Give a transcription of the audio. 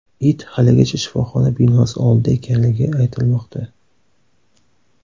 It haligacha shifoxona binosi oldida ekanligi aytilmoqda.